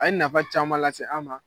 A ye nafa caman lase an ma.